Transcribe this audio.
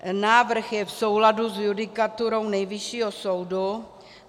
Návrh je v souladu s judikaturou Nejvyššího soudu.